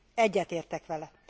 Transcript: Egyetértek vele!